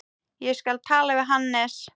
Ég skal tala við Hannes.